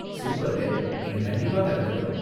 சூப்பர்ங்க, நீங்க கண்டிப்பா கலந்துக்கணும்.